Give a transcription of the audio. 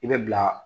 I bɛ bila